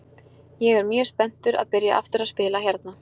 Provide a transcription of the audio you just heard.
Ég er mjög spenntur að byrja aftur að spila hérna.